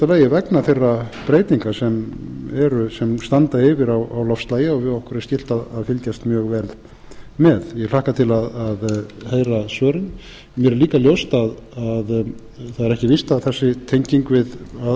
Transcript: lagi vegna þeirra breytinga sem standa yfir á loftslagi og okkur er skylt að fylgjast mjög vel með ég hlakka til að heyra svörin mér er líka ljóst að menn eiga ekki að vera of